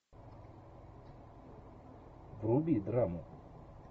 вруби драму